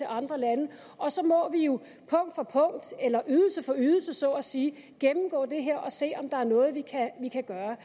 andre lande og så må vi jo punkt for punkt eller ydelse for ydelse så at sige gennemgå det her og se om der er noget vi kan gøre